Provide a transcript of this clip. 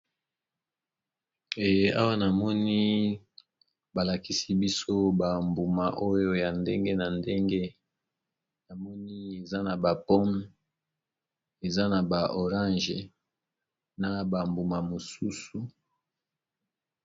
Awa namoni balakisi biso bambuma oyo ya ndenge na ndenge, na moni eza na ba pomme, eza na ba orange na bambuma mosusu.